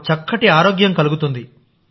మాకుచక్కటి ఆరోగ్యం కలుగుతుంది